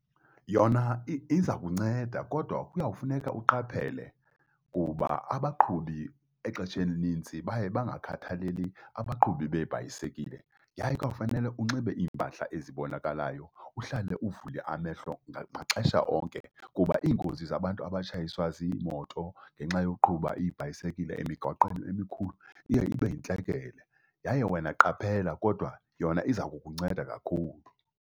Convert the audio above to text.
Yona iza kunceda kodwa kuyawufuneka uqaphele, kuba abaqhubi exesheni elinintsi baye bangakhathaleli abaqhubi beebhayisekile. Yaye kuyawufanele unxibe iimpahla ezibonakalayo, uhlale uvule amehlo maxesha onke kuba iingozi zabantu abatshayiswa ziimoto ngenxa yoqhuba iibhayisekile emigaqweni emikhulu iye ibe yintlekele, yaye wena qaphela kodwa yona iza kukunceda kakhulu.